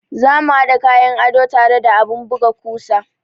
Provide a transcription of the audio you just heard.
Za mu haɗa kayan ado tare da abun buga kusa.